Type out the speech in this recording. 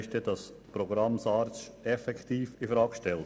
Damit wäre das Programm SARZ effektiv in Frage gestellt.